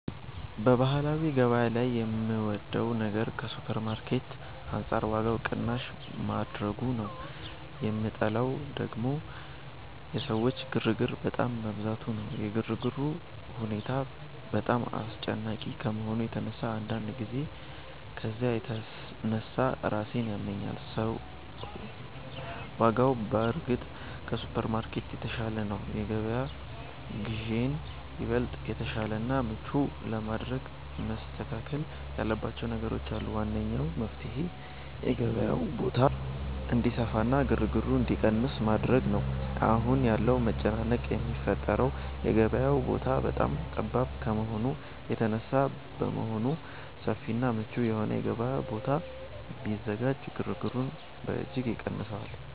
በባህላዊ ገበያ ላይ የምወደው ነገር ከሱፐርማርኬት አንጻር ዋጋው ቅናሽ ማድረጉ ነው፤ የምጠላው ደግሞ የሰዎች ግርግር በጣም መብዛቱ ነው። የግርግሩ ሁኔታ በጣም አስጨናቂ ከመሆኑ የተነሳ አንዳንድ ጊዜ ከዝያ የተነሳ ራሴን ያመኛል። አዎ፣ ዋጋው በእርግጥ ከሱፐርማርኬት የተሻለ ነው። የገበያ ግዢዬን ይበልጥ የተሻለና ምቹ ለማድረግ መስተካከል ያለባቸው ነገሮች አሉ። ዋነኛው መፍትሔ የገበያው ቦታ እንዲሰፋና ግርግሩ እንዲቀንስ ማድረግ ነው። አሁን ያለው መጨናነቅ የሚፈጠረው የገበያው ቦታ በጣም ጠባብ ከመሆኑ የተነሳ በመሆኑ፣ ሰፊና ምቹ የሆነ የገበያ ቦታ ቢዘጋጅ ግርግሩን በእጅጉ ይቀንሰዋል